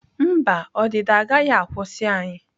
Mba, ọdịda agaghị akwụsị anyị.